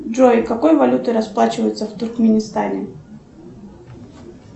джой какой валютой расплачиваются в туркменистане